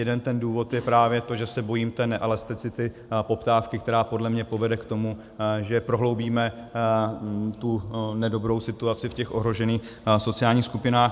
Jeden ten důvod je právě to, že se bojím té neelasticity poptávky, která podle mě povede k tomu, že prohloubíme tu nedobrou situaci v těch ohrožených sociálních skupinách.